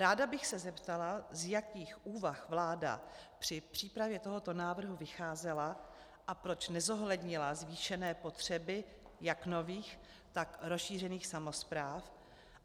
Ráda bych se zeptala, z jakých úvah vláda při přípravě tohoto návrhu vycházela a proč nezohlednila zvýšené potřeby jak nových, tak rozšířených samospráv,